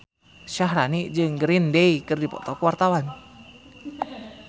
Syaharani jeung Green Day keur dipoto ku wartawan